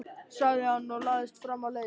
sagði hann og lagðist fram á leiðið.